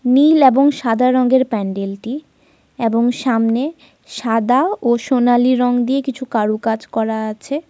নীল এবং সাদা রঙের প্যান্ডেল টি। এবং সামনে সাদা এবং সোনালী রং দিয়ে কিছু কারুকাজ করা আছে।